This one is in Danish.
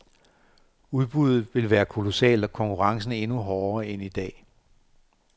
Udbuddet vil være kolossalt og konkurrencen endnu hårdere end i dag.